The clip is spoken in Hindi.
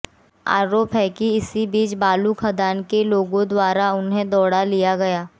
आरोप है कि इसी बीच बालू खदान के लोगों द्वारा उन्हें दौड़ा लिया गया